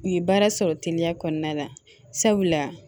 U ye baara sɔrɔ teliya kɔnɔna la sabula